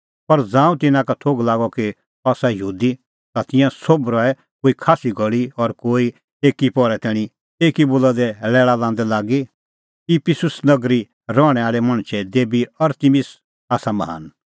पर ज़ांऊं तिन्नां का थोघ लागअ कि अह आसा यहूदी ता तिंयां सोभ रहै कोई खास्सी घल़ी कोई एकी पहरै तैणीं एकी बोला दी लैल़ा लांदै लागी इफिसुस नगरी रहणैं आल़ै मणछे देबी अरतिमिस आसा महान